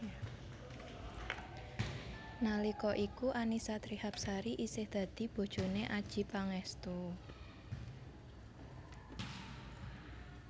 Nalika iku Annisa Trihapsari isih dadi bojoné Adjie Pangestu